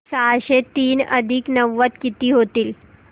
सहाशे तीन अधिक नव्वद किती होतील